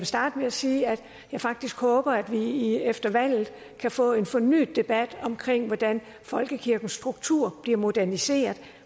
starte med at sige at jeg faktisk håber at vi efter valget kan få en fornyet debat om hvordan folkekirkens struktur bliver moderniseret